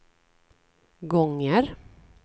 gånger